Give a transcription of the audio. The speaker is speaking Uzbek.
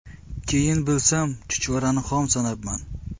Keyin bilsam, chuchvarani xom sanabman.